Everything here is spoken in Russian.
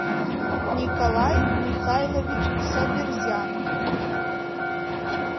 николай михайлович саберзянов